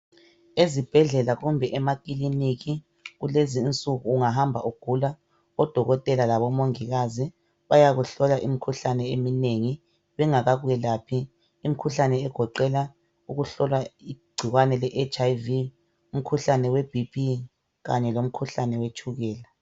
Ezibhedlela kumbe emakiliniki kulezi insuku ungahamba ugula odokotela labomongikazi bayakuhlola imikhuhlane eminengi bengakakwelaphi. Imikhuhlane egoqela igcikwane leHIV, umkhuhlane weBP kanye lomkhuhlane wetshukela.